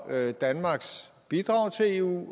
danmarks bidrag til eu